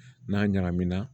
N'a ɲagamina